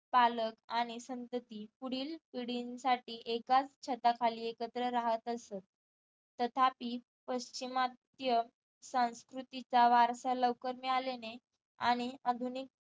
पालक आणि संतती पुढील पिढींसाठी एकाच छताखाली एकत्र राहत असत तथापि पाश्चिमात्य संस्कृतीचा वारसा लवकर मिळाल्याने आणि आधुनिक